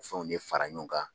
O fɛnw de fara ɲɔgɔn kan